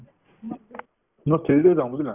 মই three D তে যাওঁ বুজিলা